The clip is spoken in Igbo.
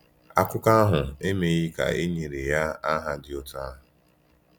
Akụkọ ahụ emeghị ka e nyere ya aha dị otu ahụ.